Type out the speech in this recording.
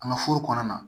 An ka foro kɔnɔna na